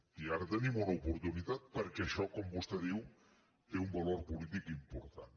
i ara en tenim una oportunitat perquè això com vostè diu té un valor polític important